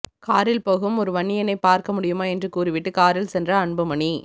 காரில் போகும் ஒரு வன்னியனைப் பார்க்க முடியுமா என்று கூறிவிட்டு காரில் சென்ற அன்புமணி